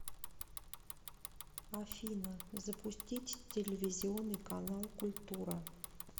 афина запустить телевизионный канал культура